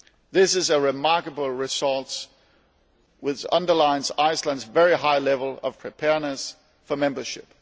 This is a remarkable result, which underlines Iceland's very high level of preparedness for membership.